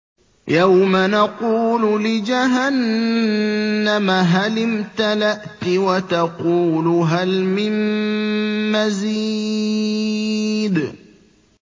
يَوْمَ نَقُولُ لِجَهَنَّمَ هَلِ امْتَلَأْتِ وَتَقُولُ هَلْ مِن مَّزِيدٍ